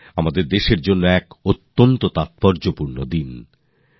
এই দিনটি সমগ্র দেশের জন্যই খুবই গুরুত্বপূর্ণ দিন